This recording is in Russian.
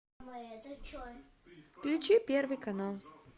включи первый канал